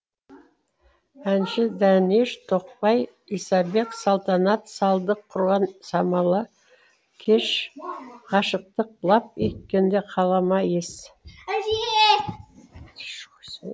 әнші дәнеш тоқбай исабек салтанат салдық құрған самала кеш ғашықтық лап еткенде қалама ес